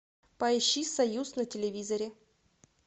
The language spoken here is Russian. поищи союз на телевизоре